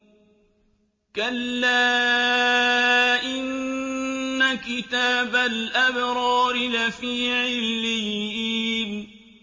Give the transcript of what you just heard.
كَلَّا إِنَّ كِتَابَ الْأَبْرَارِ لَفِي عِلِّيِّينَ